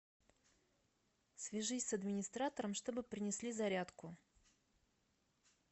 свяжись с администратором чтобы принесли зарядку